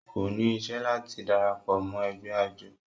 kò ní isẹ́ láti darapọ̀ mọ́ ẹgbẹ́ àjọ